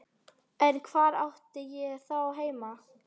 En hvar átti ég þá heima?